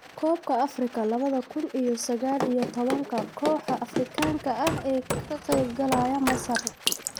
Koobka Afrika labada kuun iyo sagal iyo tobanka: Kooxaha Afrikaanka ah ee ka qayb galaya Masar